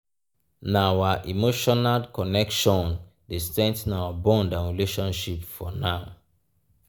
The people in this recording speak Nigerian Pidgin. na our emotional connection dey strengthen our bond and relationship for now.